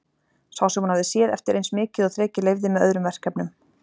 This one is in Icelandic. Sá sem hún hafði séð eftir eins mikið og þrekið leyfði, með öðrum verkefnum.